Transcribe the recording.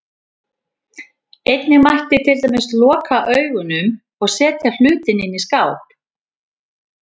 Einnig mætti til dæmis loka augunum, eða setja hlutinn inn í skáp.